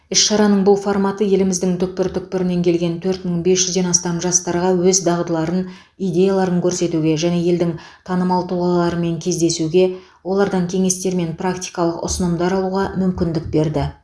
іс шараның бұл форматы еліміздің түкпір түкпірінен келген төрт мың бес жүзден астам жастарға өз дағдыларын идеяларын көрсетуге және елдің танымал тұлғаларымен кездесуге олардан кеңестер мен практикалық ұсынымдар алуға мүмкіндік берді